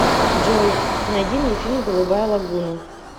джой найди мне фильм голубая логуна